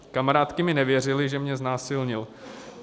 Kamarádky mi nevěřily, že mě znásilnil.